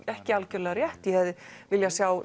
ekki algjörlega rétt ég hefði viljað sjá